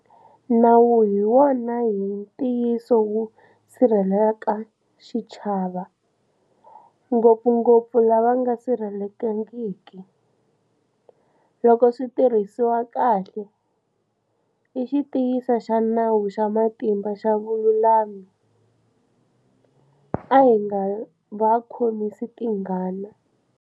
Nawu hi wona hi ntiyiso wu sirhelelaka xichava, ngopfungopfu lava nga sirhelelekangiki. Loko swi tirhisiwa kahle, i xitiyisi xa nawu xa matimba xa vululami. A hi nga va khomisi tingana.